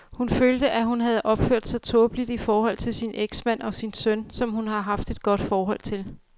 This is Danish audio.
Hun følte, at hun havde opført sig tåbeligt i forhold til sin eksmand og sin søn, som hun har et godt forhold til.